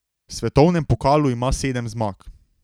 V svetovnem pokalu ima sedem zmag.